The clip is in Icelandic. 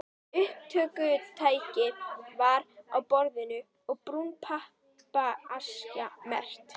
Upptökutæki var á borðinu og brún pappaaskja merkt